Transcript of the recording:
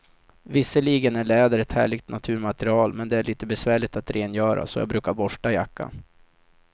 Visserligen är läder ett härligt naturmaterial, men det är lite besvärligt att rengöra, så jag brukar borsta jackan.